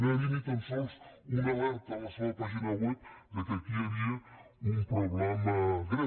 no hi havia ni tan sols una alerta a la seva pàgina web que aquí hi havia un problema greu